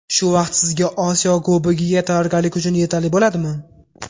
Shu vaqt sizga Osiyo Kubogiga tayyorgarlik uchun yetarli bo‘ladimi?